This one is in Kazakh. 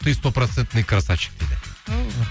ты сто процентный красавчик дейді